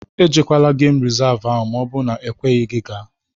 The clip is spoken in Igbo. E jekwala geem resavu ahụ maọbụ na m ekweghị gị gaa!